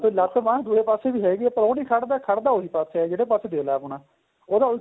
ਲੱਤ ਬਾਂਹ ਦੁਏ ਪਾਸੇ ਵੀ ਹੈਗੀ ਏ ਪਰ ਉਹ ਨਹੀਂ ਖੜਦਾ ਖੜਦਾ ਉਹੀ ਪਾਸਾਂ ਜਿਹੜੇ ਪਾਸੇ ਦਿਲ ਏ ਆਪਣਾ ਉਹਦਾ